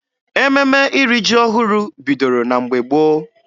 Ememe iri ji ọhụrụ bidoro na mgbe gboo.